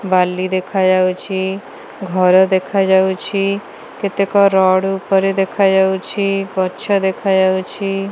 ବାଲି ଦେଖାଯାଉଛି। ଘର ଦେଖାଯାଉଛି କେତେକ ରଡ଼ ଉପରେ ଦେଖାଯାଉଛି ଗଛ ଦେଖାଯାଉଛି।